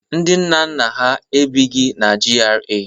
Ndị nna nna ha ebighi na GRA.